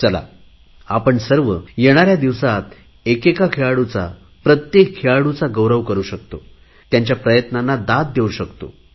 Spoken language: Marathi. चला आपण सर्व येणाऱ्या दिवसात एकेका खेळाडूचा प्रत्येक खेळाडूचा गौरव करु शकतो त्यांच्या प्रयत्नांना दाद देवू शकतो